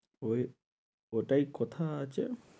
ঐ ওটাই কথা আছে।